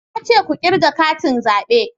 Na ce ku kirga katin zabe